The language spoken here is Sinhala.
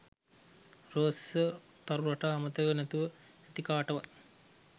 රෝස තරු රටා අමතක නැතුව ඇති කාටවත්